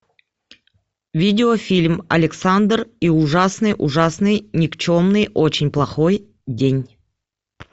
видеофильм александр и ужасный ужасный никчемный очень плохой день